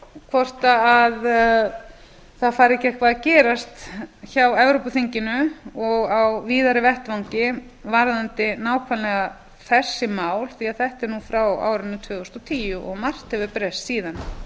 hvort það fari ekki eitthvað að gerast hjá evrópuþinginu og á víðari vettvangi varðandi nákvæmlega þessi mál því að þetta er nú frá árinu tvö þúsund og tíu og margt hefur breyst síðan